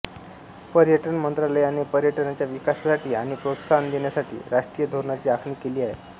पर्यटन मंत्रालयाने पर्यटनाच्या विकासासाठी आणि प्रोत्साहन देण्यासाठी राष्ट्रीय धोरणांची आखणी केली आहे